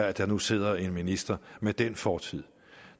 at der nu sidder en minister med den fortid